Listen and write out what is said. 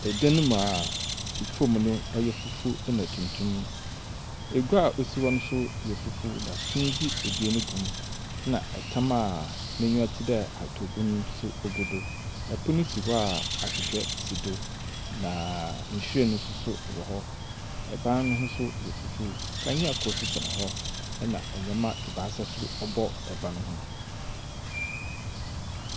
Dan mu a famu no, ɔyɛ fufuw na tuntum, egua a osi hɔ no yɛ fufuw na tuntum a sundze ebien gu, na tam a n’enyiwa tse dɛ ahatawbun so gu do. Pon si hɔ a ahwehwɛ si do, na nhyiren so wɔ hɔ, ban no so ho yɛ fufuw, kanea kor so sɛn hɔ na ndzɛmba ebiasa so bɔ ban no ho.